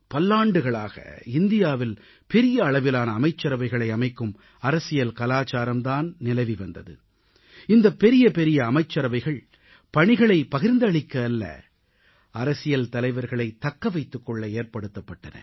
பல்லாண்டுகளாக இந்தியாவில் பெரிய அளவிலான அமைச்சரவைகளை அமைக்கும் அரசியல் கலாச்சாரம் தான் நிலவி வந்தது இந்தப் பெரிய பெரிய அமைச்சரவைகள் பணிகளைப் பகிர்ந்தளிக்க அல்ல அரசியல் தலைவர்களைத் தக்க வைத்துக் கொள்ள ஏற்படுத்தப்பட்டன